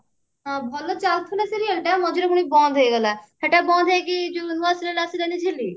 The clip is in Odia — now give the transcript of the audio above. ହଁ ଭଲ ଚାଲୁଥିଲା serial ଟା ମଝିରେ ପୁଣି ବନ୍ଦ ହେଇଗଲା ସେଟା ବନ୍ଦ ହେଇକି ଯଉ ନୂଆ serial ଆସିଲାନି ଝିଲି